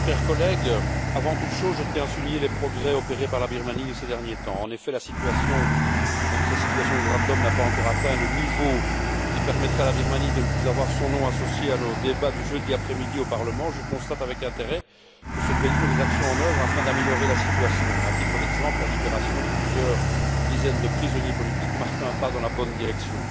Monsieur le Président, chers collègues, avant toute chose, je tiens à souligner les progrès opérés par la Birmanie ces derniers temps. En effet, même si la situation des droits de l'homme n'a pas encore atteint le niveau qui permettrait à la Birmanie de ne plus voir son nom associé à nos débats du jeudi après midi au Parlement européen, je constate avec intérêt que ce pays met des actions en œuvre afin d'améliorer la situation. À titre d'exemple, la libération de plusieurs dizaines de prisonniers politiques marque un pas dans la bonne direction.